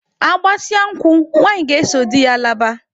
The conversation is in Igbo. Agbasịa nkwụ, nwanyị ga-eso di ya laba.